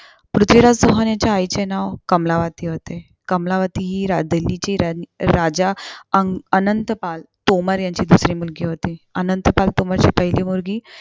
पृथ्वीराज चौहान यांच्या आईचे नाव कमलावती होते. कमलावती हि राजधानीची राणी राजा अं अनंत पाल तोमर यांची दुसरी मुलगी होती. अनंत पाल तोमरची पहिली मुलगी